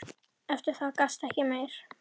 Eftir það gastu ekki meir.